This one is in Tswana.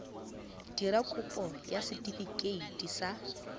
dira kopo ya setefikeiti sa